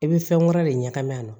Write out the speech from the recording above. I bɛ fɛn wɛrɛ de ɲagami a la